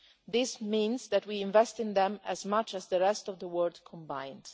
This means that we invest as much in them as the rest of the world combined.